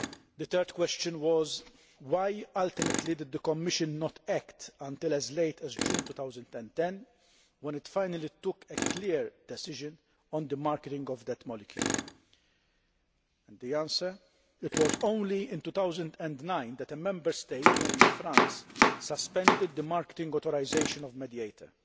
The third question was why did the Commission not act until as late as June 2010 when it finally took a clear decision on the marketing of that molecule? The answer it was only in 2009 that a Member State, namely France, suspended the marketing authorisation of Mediator.